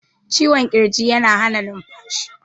cikwon kirji yana Hana numfashi